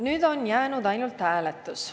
Nüüd on jäänud ainult hääletus.